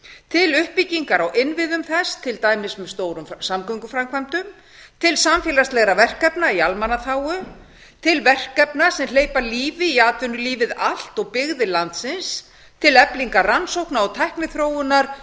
til uppbyggingar á innviðum til dæmis með stórum samgönguframkvæmdum til samfélagslegra verkefna í almannaþágu til verkefna sem hleypa lífi í atvinnulífið allt og byggðir landsins til eflingar rannsókna og tækniþróunar